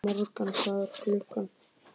Morgan, hvað er klukkan?